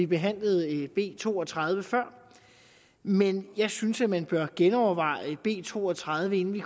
behandlede b to og tredive men jeg synes at man bør genoverveje b to og tredive inden vi